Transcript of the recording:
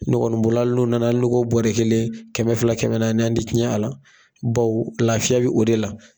Ne kɔni bolo hali n'u nana n'u ko bɔrɛ kelen kɛmɛ fila kɛmɛ naani an te tiɲɛ a la baw lafiya bi o de la.